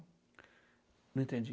Não entendi.